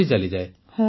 ପୁନମ ନୌଟିଆଲ ହଁ